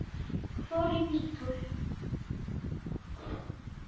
Ég fór bara í bíltúr.